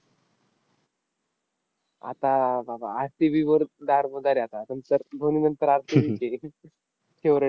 आता बाबा, RCB वर दारोमदार आहे आता. नंतर धोनीनंतर RCB च आहे favourite